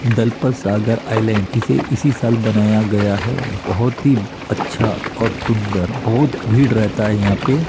Dalpat Sagar island इसे इसी साल बनाया गया है बहोत ही अच्छा और सुंदर बहुत भीड़ रहता है यहाँ पे --